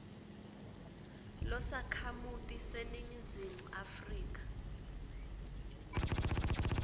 losakhamuti saseningizimu afrika